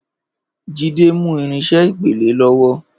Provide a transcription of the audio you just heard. Jide ń mú irinṣẹ́ ìpele lọ́wọ́